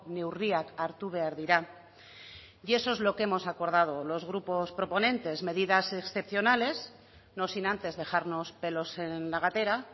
neurriak hartu behar dira y eso es lo que hemos acordado los grupos proponentes medidas excepcionales no sin antes dejarnos pelos en la gatera